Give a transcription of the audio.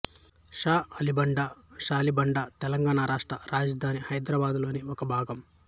షా ఆలీ బండ షాలిబండ తెలంగాణ రాష్ట్ర రాజధాని హైదరాబాదులోని ఒక భాగం